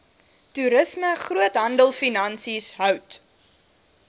toerisme groothandelfinansies hout